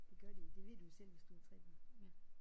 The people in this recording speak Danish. Det gør de. Det ved du jo selv hvis du har 3 børn